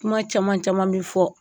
Kuma caman caman bɛ fɔ